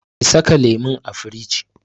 Ki saka lemun a firij!